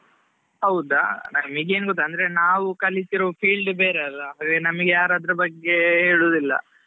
ಹೌದಾ, ನಮಿಗೇನ್ ಗೊತ್ತಾ ಅಂದ್ರೆ ನಾವು ಕಲಿತಿರುವ field ಬೇರೆಯಲ್ಲಾ, ಅದೇ ನಮಗೆ ಯಾರು ಅದ್ರ ಬಗ್ಗೆ ಹೇಳುದಿಲ್ಲಾ.